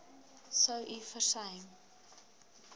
sou u versuim